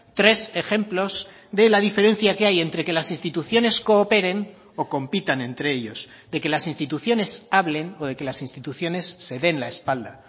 tres ejemplos de la diferencia que hay entre que las instituciones cooperen o compitan entre ellos de que las instituciones hablen o de que las instituciones se den la espalda